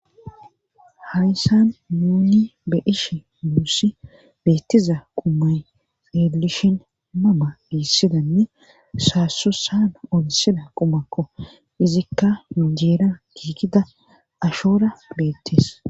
harisan muuni be ishi muussi beettiza qumay elishin mama biissidanne saasusaana onsida qumakko izikka yunjeera giigida ashoora beettees